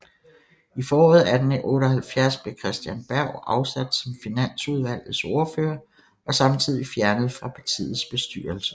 I foråret 1878 blev Christen Berg afsat som finansudvalgets ordfører og samtidigt fjernet fra partiets bestyrelse